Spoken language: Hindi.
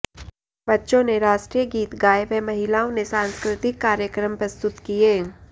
बच्चों ने राष्ट्रीय गीत गाए व महिलाओं ने साँस्कृतिक कार्यक्रम प्रस्तुत किए